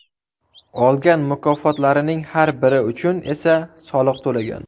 Olgan mukofotlarining har biri uchun esa soliq to‘lagan.